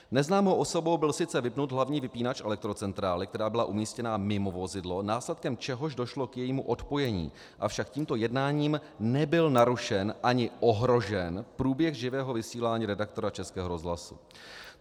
Neznámou osobou byl sice vypnut hlavní vypínač elektrocentrály, která byla umístěna mimo vozidlo, následkem čehož došlo k jejímu odpojení, avšak tímto jednáním nebyl narušen ani ohrožen průběh živého vysílání redaktora Českého rozhlasu.